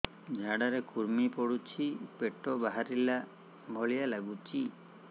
ଝାଡା ରେ କୁର୍ମି ପଡୁଛି ପେଟ ବାହାରିଲା ଭଳିଆ ଲାଗୁଚି